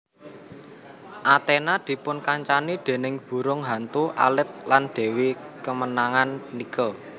Athena dipunkancani déning burung hantu alit lan dewi kemenangan Nike